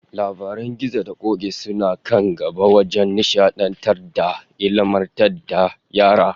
Labaran gizo da k'ok'i suna kan gaba wajen nishadantar da ilmantar da yara